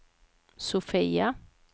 Sofia